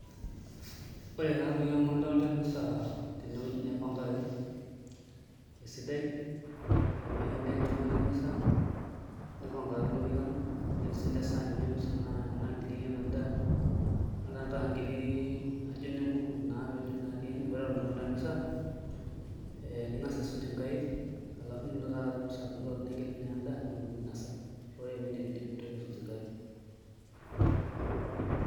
Ore taatoi amu adolta emisa tenewueji naipangaki esidai, etipikaki endaa enchumata emisa nipangaki ilorikan netii siinche isaanini emisa naagilieki ena daa adolta nkiri naa ijio ine nkuku naapejo naatii ene, ore eton itu iton temisa ee ning'as aisuj nkaik alafu nilo taa taata emisa aton nigil naa endaa nitumokiki ainasa ore pee indipidipi nintokiki aisuj nkaik.